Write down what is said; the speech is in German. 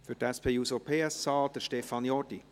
Für die SP-JUSO-PSA-Fraktion: Stefan Jordi.